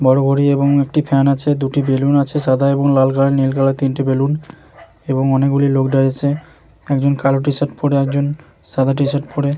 বড় ঘড়ি এবং একটি ফ্যান আছে দুটি বেলুন আছে সাদা এবং লাল কালার নীল কালার তিনটি বেলুন এবং অনেকগুলি লোক দাঁড়িয়ে আছে একজন কালো টি শার্ট পরে একজন সাদা টি শার্ট পরে ।